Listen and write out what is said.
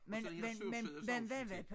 Og så det her sursød sovs til